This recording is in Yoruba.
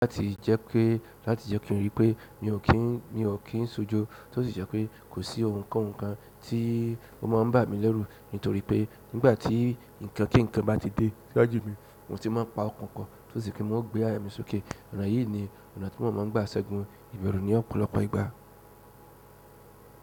Láti jẹ́ pé, láti jẹ́ kí n rí pé mi ò kí n, mi ò kí ń sojo, tí ó sì jẹ́ pé kò sí ohun kan kan tí ó máa ń bà mí lẹ́rù nítorí pé nígbà tí nǹkan kí nǹkan bá ti dé jáde mi, mo sì máa ń pa ọkàn po, tí ó sì kí n máa gbé aya mi sókè. Ọ̀nà yìí ni ọ̀nà tí mo máa ń gba ṣẹ́gun ìbẹ̀rù ní ọ̀pọ̀lọpọ̀ ìgbà.